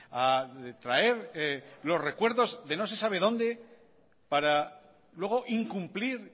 a traer los recuerdos de no sé sabe dónde para luego incumplir